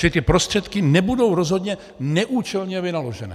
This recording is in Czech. Čili ty prostředky nebudou rozhodně neúčelně vynaložené.